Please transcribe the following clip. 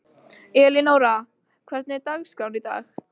Elínóra, hvernig er dagskráin í dag?